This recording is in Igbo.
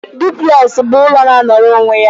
Duplex bụ ụlọ na-anọrọ onwe ya.